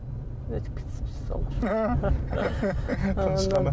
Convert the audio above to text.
өтіп кетсінші солар